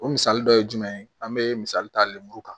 O misali dɔ ye jumɛn ye an bɛ misali ta lenburu kan